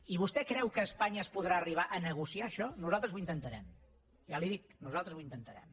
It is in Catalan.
i vostè creu que a espanya es podrà arribar a negociar això nosaltres ho intentarem ja li ho dic nosaltres ho intentarem